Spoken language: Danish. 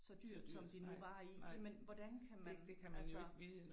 Så dyrt som de nu var i. Jamen hvordan kan man altså